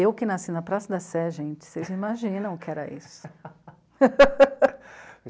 Eu que nasci na Praça da Sé, gente, vocês não imaginam o que era isso.